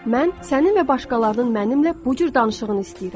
Mən sənin və başqalarının mənimlə bu cür danışığını istəyirəm.